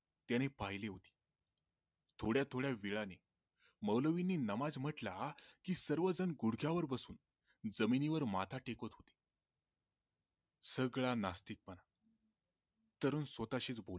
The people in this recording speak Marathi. त्याने पाहिले होते त्याने थोड्या थोड्या वेळांनी मौलवीनी नमाज म्हंटला की सर्व जण गुढच्यावर बसून जमिनीवर माथा टेकत होते सगळा नास्तिक पणा तरुण स्वतःशीच बोलला